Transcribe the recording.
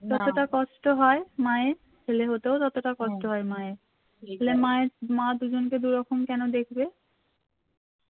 যতটা কষ্ট হয় মায়ের ছেলে হতেও ততটা কষ্ট হয় মায়ের তালে মায়ের মা দুজনকে দুরকম কেন দেখবে